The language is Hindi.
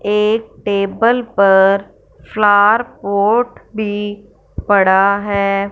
एक टेबल पर फ्लार पॉट भी पड़ा है।